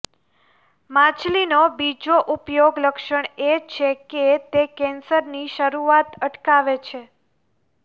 માછલીનો બીજો ઉપયોગી લક્ષણ એ છે કે તે કેન્સરની શરૂઆત અટકાવે છે